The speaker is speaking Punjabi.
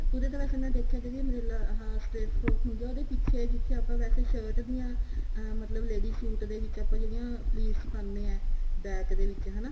ਕਿਉਂਕਿ ਵੈਸੇ ਮੈਂ ਦੇਖਿਆ ਜਿਹੜੀ umbrella ਅਹ straight frock ਹੁੰਦੀ ਹੈ ਉਹਦੇ ਪਿੱਛੇ ਜਿੱਥੇ ਆਪਾਂ ਵੈਸੇ shirt ਦੀਆਂ ਅਹ ਮਤਲਬ ladies suit ਦੇ ਵਿੱਚ ਆਪਾਂ ਜਿਹੜੀਆਂ plates ਪਾਉਂਦੇ ਹਾਂ back ਦੇ ਵਿੱਚ ਹਨਾ